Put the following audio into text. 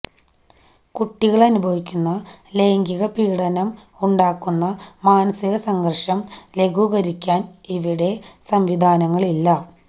കുട്ടികള് അനുഭവിക്കുന്ന ലൈംഗികപീഡനം ഉണ്ടാക്കുന്ന മനസികസംഘര്ഷം ലഘൂകരിക്കാന് ഇവിടെ സംവിധാനങ്ങളില്ല